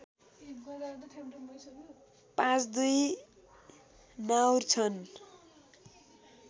५२ नाउर छन्